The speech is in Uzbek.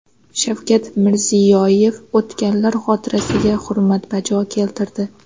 Shavkat Mirziyoyev o‘tganlar xotirasiga hurmat bajo keltirdi.